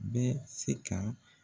Bɛ se ka